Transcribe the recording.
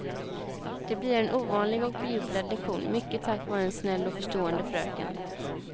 Det blir en ovanlig och bejublad lektion mycket tack vare en snäll och förstående fröken.